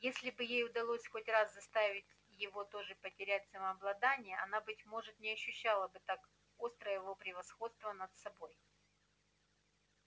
если бы ей удалось хоть раз заставить его тоже потерять самообладание она быть может не ощущала бы так остро его превосходства над собой